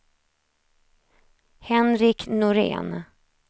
Henrik Norén